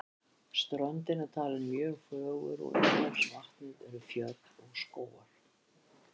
Ströndin er talin mjög fögur en umhverfis vatnið eru fjöll og skógar.